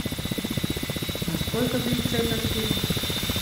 а сколько длится этот фильм